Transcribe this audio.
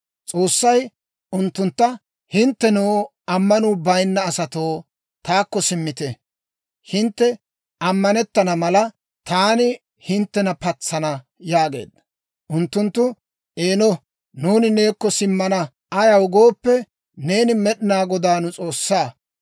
S'oossay unttuntta, «Hinttenoo, ammanuu bayinna asatoo, taakko simmite. Hintte ammanettana mala, taani hinttena patsana» yaageedda. Unttunttu, «Eeno, nuuni neekko simmana. Ayaw gooppe, neeni Med'inaa Godaa nu S'oossaa.